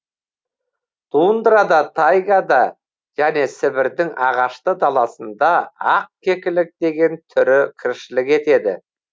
тундрада тайгада және сібірдің ағашты даласында ақ кекілік деген түрі тіршілік етеді